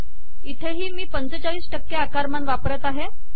इथेही मी ४५ टक्के आकारमान वापरत आहे